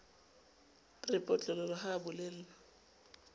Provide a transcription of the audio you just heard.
re potlololo ha a bolellwa